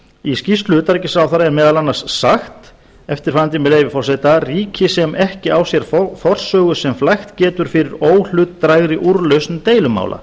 í skýrslu utanríkisráðherra er meðal annars sagt eftirfarandi með leyfi forseta ríki sem ekki á sér forsögu sem flækt getur fyrir óhlutdrægri úrlausn deilumála